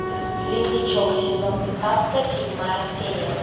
светлячок сезон пятнадцатый седьмая серия